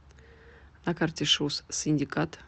на карте шус синдикат